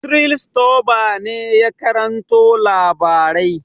Cyril Stober ne ya karanto labarai.